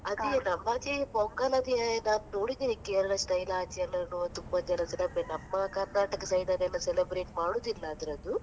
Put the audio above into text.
ಅದೇ ಆಚೆ pongal ಅದ್ ನಾನ್ ನೋಡಿದ್ದೇನೆ Kerala style ಆಚೆಯಲ್ಲ ತುಂಬಾ ಎಲ್ಲಾ celebra~ . ನಮ್ಮ Karnataka side ಅಲ್ಲೆಲ್ಲಾ celebrate ಮಾಡುದಿಲ್ಲ ಅದ್ರದ್ದು.